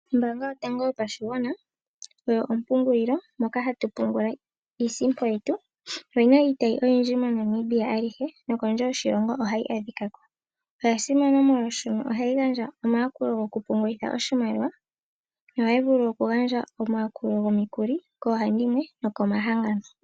Ombaanga yotango yopashigwana oyo ompungililo Moka ha tu pungula iisimpo yetu oyina iitayi oyindji mo Namibia ayihe nokondje yoshilongo ohayi adhikako. Oya simana molwaashoka ohayi gandja omayakulo gokupungultha oshimaliwa yo ohaya vulu okugandja omayakulo gomikuli koohandimwe nokomahangano.